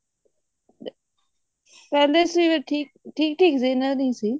ਕਹਿੰਦੇ ਸੀ ਵੀ ਠੀਕ ਠੀਕ ਸੀ ਇੰਨਾ ਨਹੀਂ ਸੀ